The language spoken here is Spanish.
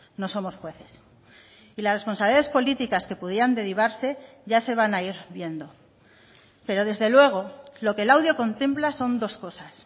no somos jueces y las responsabilidades políticas que pudieran derivarse ya se van a ir viendo pero desde luego lo que el audio contempla son dos cosas